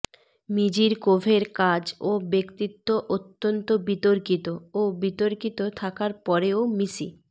মিজিরকোভের কাজ ও ব্যক্তিত্ব অত্যন্ত বিতর্কিত ও বিতর্কিত থাকার পরেও মিসি